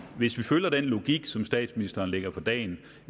vi følger den logik som statsministeren lægger for dagen